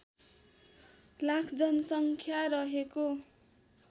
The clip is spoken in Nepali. लाख जनसङ्ख्या रहेको